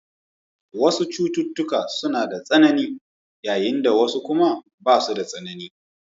Wasu cututtuka suna da tsanani, yayin da wasu kuma basu da tsanani.